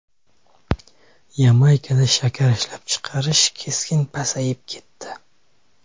Yamaykada shakar ishlab chiqarish keskin pasayib ketdi.